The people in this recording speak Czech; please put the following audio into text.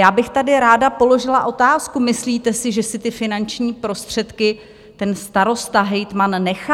Já bych tady ráda položila otázku: Myslíte si, že si ty finanční prostředky ten starosta, hejtman nechá?